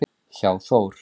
hjá Þór.